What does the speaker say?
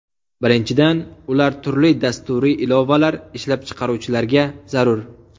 Birinchidan, ular turli dasturiy ilovalar ishlab chiqaruvchilarga zarur.